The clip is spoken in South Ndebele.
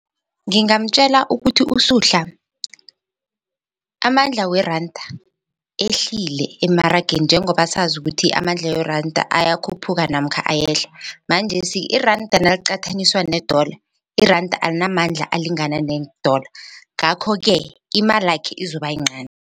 Ngingamtjela ukuthi uSuhla amandla weranda ehlile emarageni njengoba sazi ukuthi amandla weranda ayakhuphuka namkha ayehla manjesi iranda naliqathaniswa ne-dollar iranda alinamandla alingana ne-dollar ngakho-ke imalakhe izoba yincani.